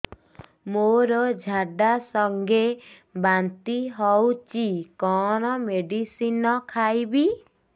ମୋର ଝାଡା ସଂଗେ ବାନ୍ତି ହଉଚି କଣ ମେଡିସିନ ଖାଇବି